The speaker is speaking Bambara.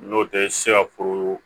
N'o tɛ se ka foro